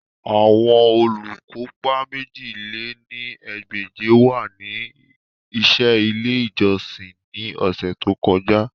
Awọn olukopa mèjì lé ní ẹgbẹ́je wa ni iṣẹ ile ijọsin ni ọsẹ to kọja